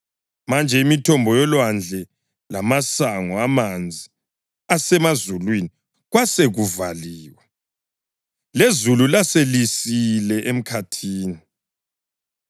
Manje imithombo yolwandle lamasango amanzi asemazulwini kwasekuvaliwe, lezulu laselisile emkhathini.